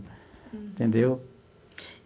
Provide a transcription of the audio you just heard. Entendeu?